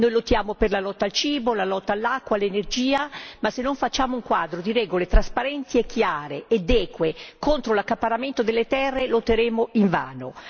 Noi lottiamo per la lotta al cibo, la lotta all'acqua, l'energia, ma se non facciamo un quadro di regole trasparenti e chiare ed eque contro l'accaparramento delle terre lotteremo invano.